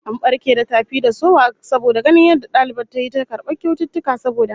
An barke da tafi da sowa saboda ganin yadda dalibar tayi ta karbar kyaututtuka saboda hazaka